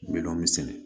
Bɛlɔn min sɛnɛ